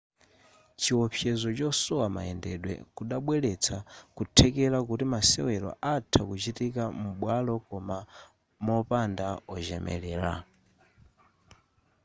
chiopsezo chosowa mayendedwe kudabweretsa kuthekera kuti masewero atha kuchitika m'bwalo koma mopanda ochemelera